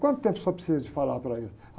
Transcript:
Quanto tempo você precisa de falar para eles?